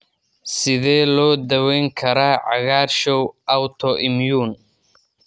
Sidee loo daweyn karaa cagaarshow autoimmune?